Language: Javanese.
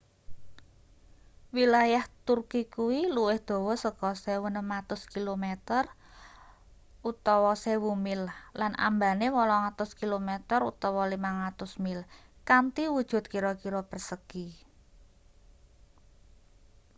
wilayah turki kuwi luwih dawa saka 1.600 kilometer 1,000 mi lan ambane 800 km 500 mil kanthi wujut kira-kira persagi